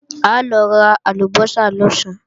A lọ ra àlùbọ́sà lọ̀sán